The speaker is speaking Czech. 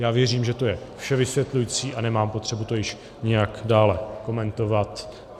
Já věřím, že to je vše vysvětlující, a nemám potřebu to již nějak dál komentovat.